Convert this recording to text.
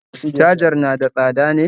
cajar na da tsada ne?